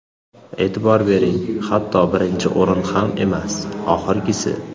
E’tibor bering, hatto birinchi o‘rin ham emas, oxirgisi.